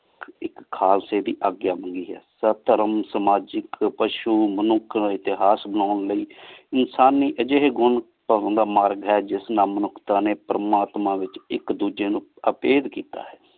ਇਕ ਖਾਲਸੀ ਦੀ ਅਗ੍ਗ੍ਯ ਹੁੰਦੀ ਹੈ ਸਤ ਧਰਮ ਸਮਾਜਿਕ ਪਸ਼ੁ ਮਨੁਕ ਕਾ ਏਤੇਹਾਸ ਬਣਾਂ ਲੈ ਇਨਸਾਨੀ ਜਹੀ ਘੁਣ ਜਿਸ ਨਾਲ ਮਾਨੁਕ੍ਤਾਂ ਨੀ ਪਰਮਾਤਮਾ ਵਿਚ ਇਕ ਦੂਜੀ ਨੂ ਅਪੇਡ ਕੀਤਾ ਆਯ